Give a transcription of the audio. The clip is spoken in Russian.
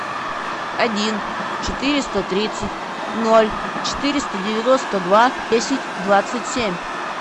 один четыреста тридцать ноль четыреста девяносто два десять двадцать семь